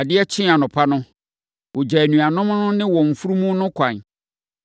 Adeɛ kyee anɔpa no, ɔgyaa anuanom no ne wɔn mfunumu no kwan.